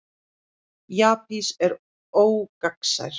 jaspis er ógagnsær